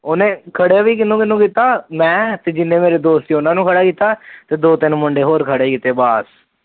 ਉਹਨੇ ਖੜੇ ਵੀ ਕਿਹਨੂੰ ਕਿਹਨੂੰ ਕੀਤਾ ਮੈ ਤੇ ਜਿਨੇ ਮੇਰੇ ਦੋਸਤ ਸੀ ਉਹਨਾ ਨੂੰ ਖੜਾ ਕੀਤਾ ਤੇ ਦੋ ਤਿੰਨ ਹੋਰ ਮੁੰਡੇ ਖੜੇ ਕੀਤੇ ਬਸ